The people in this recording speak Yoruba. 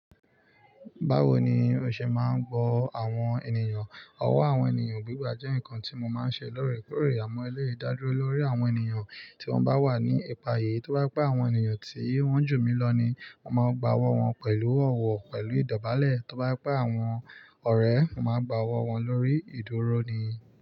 Báwo ni o ṣe máa ń gbọ́ àwọn ènìyàn? Ọ̀wọ́ àwọn ènìyàn gbígbà jẹ́ nǹkan tí mo máa ń ṣe lóòrèkóòrè. Àmọ́ eléi da dúró lórí àwọn ènìyàn tí wọ́n bá wà ní ìpayà. Tí ó bá pẹ àwọn ènìyàn tí wọ́n jù mí lọ ni màá gba ọwọ́ wọn pẹ̀lú ọ̀wọ̀ pẹ̀lú ìdọ̀bálẹ̀. Tí ó bá pẹ àwọn ọ̀rẹ́, màá gba ọwọ́ wọn lórí ìdúró ni.